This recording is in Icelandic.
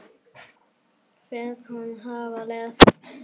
Finnst hún hafa elst.